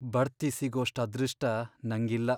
ಬಡ್ತಿ ಸಿಗೋಷ್ಟ್ ಅದೃಷ್ಟ ನಂಗಿಲ್ಲ.